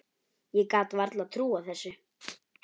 Ég gat varla trúað þessu.